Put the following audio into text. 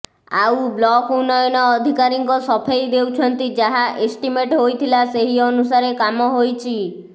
ଆଉ ବ୍ଲକ ଉନ୍ନୟନ ଅଧିକାରୀଙ୍କର ସଫେଇ ଦେଉଛନ୍ତି ଯାହା ଏଷ୍ଟିମେଟ ହୋଇଥିଲା ସେହି ଅନୁସାରେ କାମ ହୋଇଛି